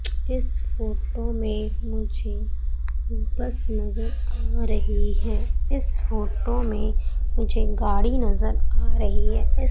इस फोटो में मुझे बस नजर आ रही है इस फोटो में मुझे गाड़ी नजर आ रही है इस--